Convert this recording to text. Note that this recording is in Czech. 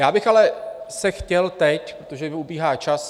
Já bych ale se chtěl teď, protože mi ubíhá čas...